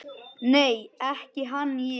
Nei, ekki hann ég.